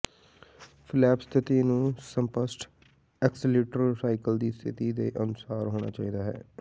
flap ਸਥਿਤੀ ਨੂੰ ਸਪਸ਼ਟ ਐਕਸਲੇਟਰ ਸਾਈਕਲ ਦੀ ਸਥਿਤੀ ਦੇ ਅਨੁਸਾਰੀ ਹੋਣਾ ਚਾਹੀਦਾ ਹੈ